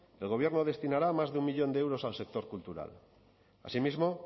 el gobierno destinará más de un millón de euros al sector cultural asimismo